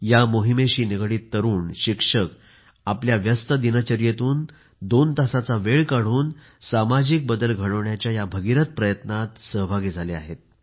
या मोहिमेशी निगडीत तरुण शिक्षक आपल्या व्यस्त दिनचर्येतून दोन तासाचा वेळ काढून सामाजिक बदल घडवण्याच्या या भगीरथ प्रयत्नांत सहभागी झाले आहेत